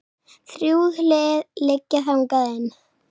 Þrjú hlið liggja þangað inn.